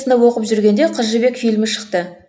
оқып жүргенде қыз жібек фильмі шықты